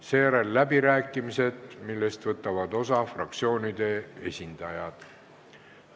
Seejärel on läbirääkimised, millest võtavad osa fraktsioonide esindajad.